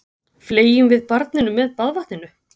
Fleygjum við barninu með baðvatninu?